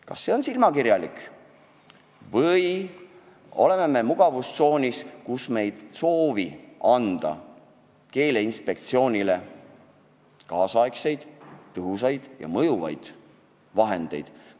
Kas see on silmakirjalik tegutsemine või me oleme mugavustsoonis, kus me ei soovi anda Keeleinspektsioonile kaasaegseid tõhusaid ja mõjuvaid vahendeid?